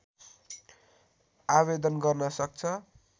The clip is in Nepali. आवेदन गर्न सक्छ